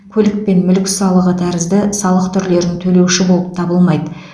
көлік пен мүлік салығы тәрізді салық түрлерін төлеуші болып табылмайды